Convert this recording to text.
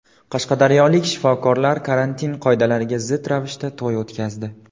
Qashqadaryolik shifokorlar karantin qoidalariga zid ravishda to‘y o‘tkazdi.